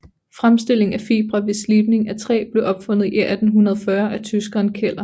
Fremstilling af fibre ved slibning af træ blev opfundet i 1840 af tyskeren Keller